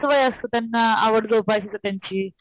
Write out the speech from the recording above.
वय असत त्यांना आवड जोपासायची त्यांची.